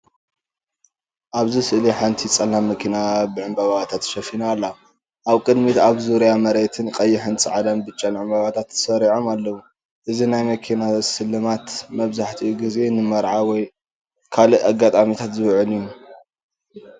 ኣብዚ ስእሊ ሓንቲ ጸላም መኪና ብዕምባባታት ተሸፊና ኣላ። ኣብ ቅድሚትን ኣብ ዙርያ መሬትን ቀይሕን ጻዕዳን ብጫን ዕምባባታት ተሰሪዖም ኣለዉ። እዚ ናይ መኪና ስልማት መብዛሕትኡ ግዜ ንመርዓ ወይ ካልእ ኣጋጣሚታት ዝውዕል እዩ።